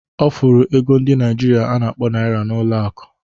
Ọ fụrụ ego ndi Naịjirịa a na-akpọ naira n'ụlọ akụ